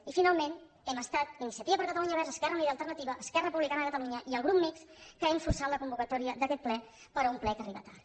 i finalment hem estat iniciativa per catalunya verds esquerra unida i alternativa esquerra republicana de catalunya i el grup mixt que hem forçat la convocatòria d’aquest ple però un ple que arriba tard